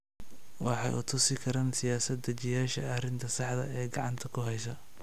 Waxay u tusi karaan siyaasad-dejiyeyaasha arrinta saxda ah ee gacanta ku haysa.